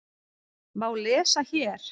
má lesa hér.